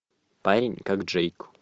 парень как джейк